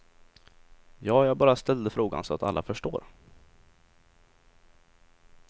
Ja, jag bara ställde frågan så att alla förstår.